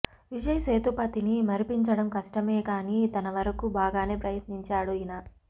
విజయ్ సేతుపతిని మరిపించడం కష్టమే కానీ తనవరకు బాగానే ప్రయత్నించాడు ఈయన